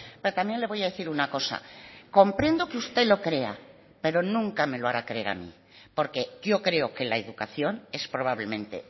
pero también le voy a decir una cosa comprendo que usted lo crea pero nunca me lo hará creer a mí porque yo creo que la educación es probablemente